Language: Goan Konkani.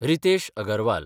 रितेश अगरवाल